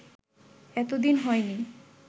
এতদিন হয়নি